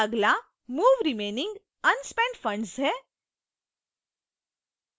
अगला move remaining unspent funds है